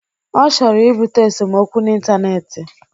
Ọ chọrọ ibute esomokwu n'intaneeti.